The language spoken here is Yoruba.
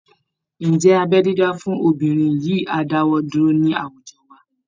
Ǹjẹ́ abẹ́ dídá fún obìnrin yìí á dáwọ́ dúró ní àwùjọ wa?